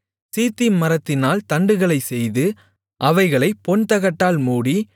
சீத்திம் மரத்தினால் தண்டுகளைச் செய்து அவைகளைப் பொன்தகட்டால் மூடி